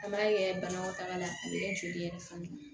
An b'a kɛ banakɔtaga la a bɛ kɛ joli yɛrɛ fana